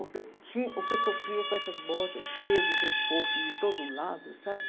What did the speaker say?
O que eu tinha, o que eu sofria com essas bolsas cheias de reforço de todo lado, sabe?